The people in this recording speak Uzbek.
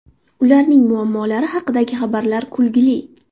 Ularning muammolari haqidagi xabarlar kulgili.